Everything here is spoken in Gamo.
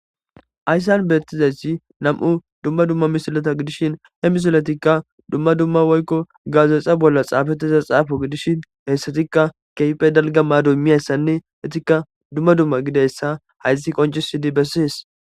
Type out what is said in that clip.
Haysan nam'u dumma dumma misileta gidishin hedumma dumma woykon gazetha bolla xapettiza xappo gidishin hesatika kehi galga maddo immizaysanne etika dumma dumma gididaysa haysi qoncisidi besses.